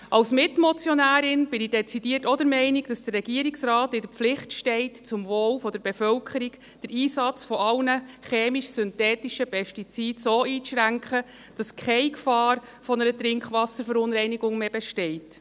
Als Mitmotionärin bin ich dezidiert der Meinung, dass der Regierungsrat in der Pflicht steht, zum Wohl der Bevölkerung den Einsatz aller chemisch-synthetischen Pestizide so einzuschränken, dass keine Gefahr einer Trinkwasserverunreinigung mehr besteht.